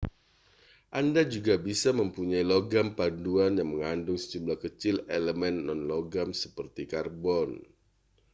anda juga bisa mempunyai logam paduan yang mengandung sejumlah kecil elemen non-logam seperti karbon